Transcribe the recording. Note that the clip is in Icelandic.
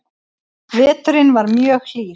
Veturinn var mjög hlýr